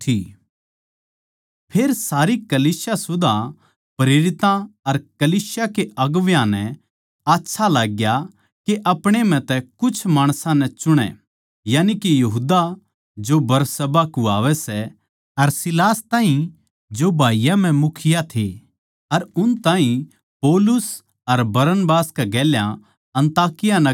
फेर सारी कलीसिया सुदा प्रेरितां अर कलीसिया के अगुवां नै आच्छा लाग्या के अपणे म्ह तै कीमे माणसां नै छाँटै यानिके यहूदा जो बरसब्बा कुह्वावै सै अर सीलास ताहीं जो भाईयाँ म्ह मुखिया थे अर उन ताहीं पौलुस अर बरनबास कै गेल्या अन्ताकिया नगर खन्दावै